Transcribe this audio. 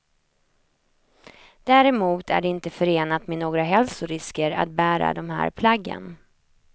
Däremot är det inte förenat med några hälsorisker att bära de här plaggen.